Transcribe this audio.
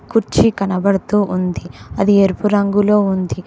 కుర్చీ కనబడుతూ ఉంది అది ఎరుపు రంగులో ఉంది.